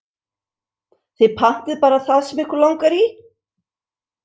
Þið pantið bara það sem ykkur langar í.